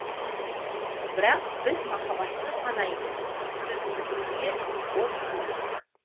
бірақ біз махббатсыз ғана емес сөзсіз дүние бос дер едік